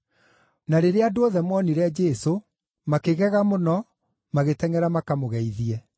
Na rĩrĩa andũ othe moonire Jesũ, makĩgega mũno magĩtengʼera makamũgeithie.